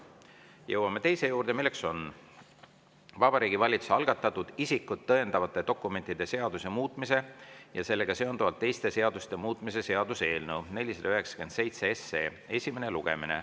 Jõuame teise päevakorrapunkti juurde, milleks on Vabariigi Valitsuse algatatud isikut tõendavate dokumentide seaduse muutmise ja sellega seonduvalt teiste seaduste muutmise seaduse eelnõu 497 esimene lugemine.